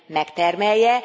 megtermelje.